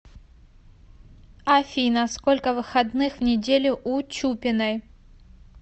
афина сколько выходных в неделю у чупиной